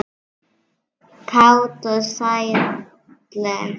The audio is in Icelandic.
Kát og sælleg.